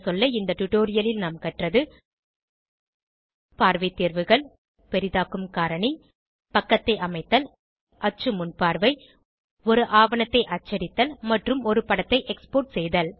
இந்த டுடோரியலில் நாம் கற்றது பார்வை தேர்வுகள் பெரிதாக்கும் காரணி பக்கத்தை அமைத்தல் அச்சு முன்பார்வை ஒரு ஆவணத்தை அச்சடித்தல் மற்றும் ஒரு படத்தை எக்ஸ்போர்ட் செய்தல்